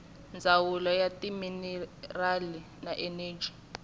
ndzawulo ya timinerali na eneji